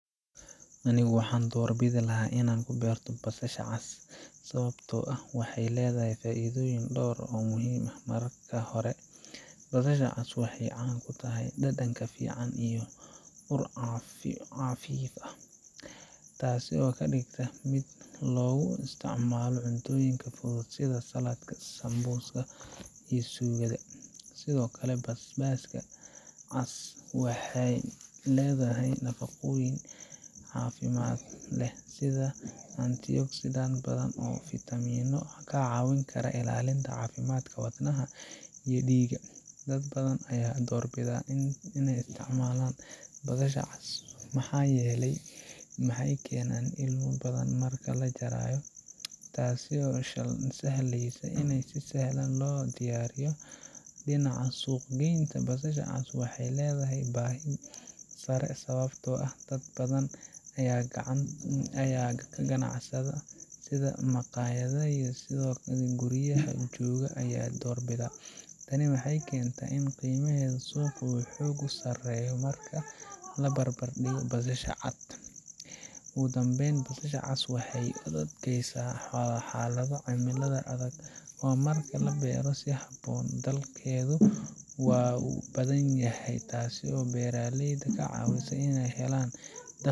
Anigu waxaan doorbidi lahaa inaan ku beerto basasha cas sababtoo ah waxay leedahay faa’iidooyin dhowr ah oo muhiim ah. Marka hore, basasha cas waxay caan ku tahay dhadhan fiican iyo ur qafiif ah, taas oo ka dhigta mid aad loogu isticmaalo cuntooyinka fudud sida saladka, sambuuska iyo suugada. Sidoo kale, basasha cas waxay leedahay nafaqooyin caafimaad leh sida antioxidants badan iyo fitamiinno kaa caawin kara ilaalinta caafimaadka wadnaha iyo dhiigga. Dad badan ayaa doorbida inay isticmaalaan basasha cas maxaa yeelay ma keenayso ilmo badan marka la jarayo, taasoo sahlaysa in si sahlan loo diyaariyo. Dhinaca suuq-geynta, basasha cas waxay leedahay baahi sare sababtoo ah dad badan oo ganacsatada ah sida maqaayadaha iyo dadka guryaha jooga ayaa doorbida. Tani waxay keentaa in qiimaheedu suuqa uu xoogaa ka sarreeyo marka la barbardhigo basasha cad. Ugu dambayn, basasha cas waxay u adkaysataa xaalado cimilada adag oo marka la beerto si habboon, dhalkeedu waa badan yahay, taasoo beeraleyda ka caawisa inay helaan .